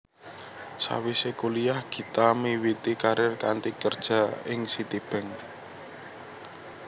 Sawisé kuliyah Gita miwiti karir kanthi kerja ing Citibank